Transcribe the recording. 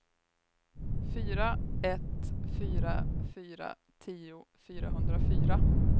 fyra ett fyra fyra tio fyrahundrafyra